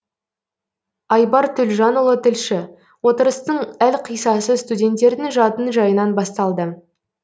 айбар төлжанұлы тілші отырыстың әлқиссасы студенттердің жатын жайынан басталды